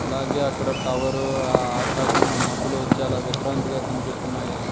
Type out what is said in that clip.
అలాగే అక్కడ టవర్ ఆకాశం మబులు చాలా విశ్రాంతిగా కనిపిస్తున్నాయి.